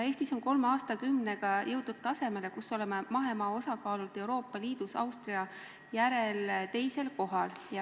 Eestis on kolme aastakümnega jõutud tasemele, kus oleme mahemaa osakaalult Euroopa Liidus Austria järel teisel kohal.